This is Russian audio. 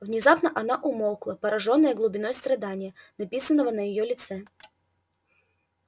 внезапно она умолкла поражённая глубиной страдания написанного на его лице